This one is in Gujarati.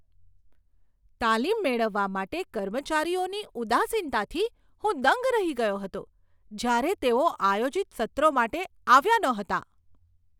તાલીમ મેળવવા માટે કર્મચારીઓની ઉદાસીનતાથી હું દંગ રહી ગયો હતો જ્યારે તેઓ આયોજિત સત્રો માટે આવ્યા નહોતા.